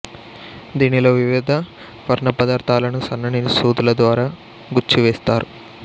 దీనిలో వివిధ వర్ణపదార్ధాలను సన్నని సూదుల ద్వారా గుచ్చి వేస్తారు